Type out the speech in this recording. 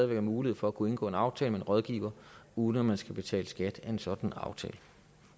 være mulighed for at kunne indgå en aftale med en rådgiver uden at man skal betale skat af en sådan aftale